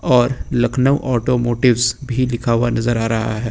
और लखनऊ ऑटोमोटिव्स भी लिखा हुआ नजर आ रहा है।